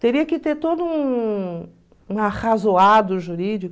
Teria que ter todo um arrazoado jurídico.